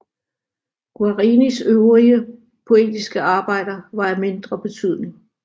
Guarinis øvrige poetiske arbejder var af mindre betydning